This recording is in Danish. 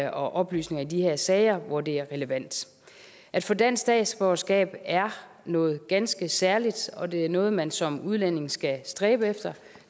og oplysninger i de her sager hvor det er relevant at få dansk statsborgerskab er noget ganske særligt og det er noget man som udlænding skal stræbe efter